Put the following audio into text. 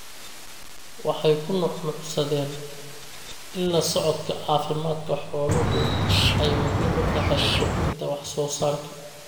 waxay ku nuuxnuuxsadeen in la socodka caafimaadka xooluhu ay muhiim u tahay kordhinta wax soo saarka.